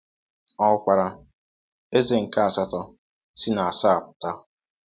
Ọ hụkwara “eze nke asatọ” “si na asaa pụta.”